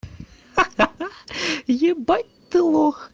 ха-ха ебать ты лох